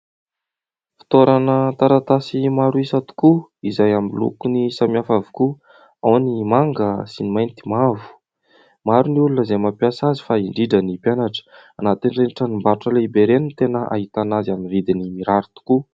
Fitoerana taratasy maro isa tokoa izay amin'ny lokony samihafa avokoa. Ao ny manga sy ny mainty mavo. Maro ny olona izay mampiasa azy fa indrindra ny mpianatra. Anatin'ireny tranombarotra lehibe no tena hahitana azy amin'ny vidiny mirary tokoa.